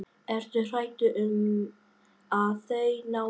Ertu hræddur um að þeir nái þér?